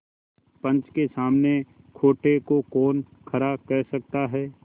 पंच के सामने खोटे को कौन खरा कह सकता है